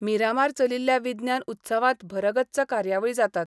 मिरामार चलिल्ल्या विज्ञान उत्सवांत भरगच्च कार्यावळी जातात.